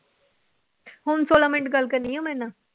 ਹੁਣ ਛੋਲਾਂ ਮਿੰਟ ਗੱਲ ਕਰਨੀ ਆਂ ਮੇਰੇ ਨਾਲ।